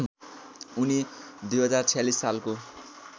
उनी २०४६ सालको